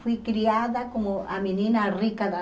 Fui criada como a menina rica da...